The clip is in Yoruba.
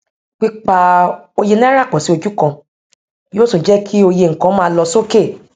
pípa òye náírà pọ sí ojú kan yóò tún jẹ kí òye nkan má lọ sókè